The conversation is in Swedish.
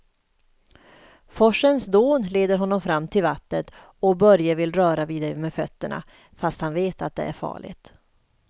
Forsens dån leder honom fram till vattnet och Börje vill röra vid det med fötterna, fast han vet att det är farligt.